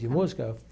De música?